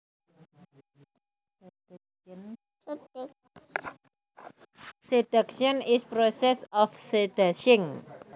Seduction is process of seducing